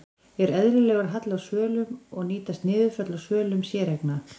Er eðlilegur halli á svölum og nýtast niðurföll á svölum séreigna?